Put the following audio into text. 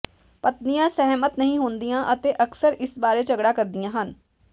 ਪਤਨੀਆਂ ਸਹਿਮਤ ਨਹੀਂ ਹੁੰਦੀਆਂ ਅਤੇ ਅਕਸਰ ਇਸ ਬਾਰੇ ਝਗੜਾ ਕਰਦੀਆਂ ਹਨ